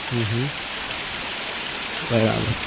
હમ હમ બરાબર